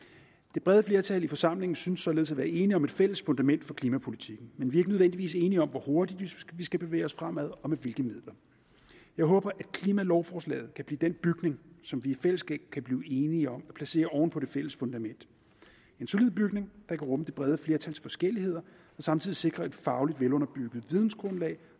det brede flertal i forsamlingen synes således at være enige om et fælles fundament for klimapolitikken men vi er ikke nødvendigvis enige om hvor hurtigt vi skal bevæge os fremad og med hvilke midler jeg håber at klimalovforslaget kan blive den bygning som vi i fællesskab kan blive enige om at placere oven på det fælles fundament en solid bygning der kan rumme det brede flertals forskelligheder og samtidig sikre et fagligt velunderbygget vidensgrundlag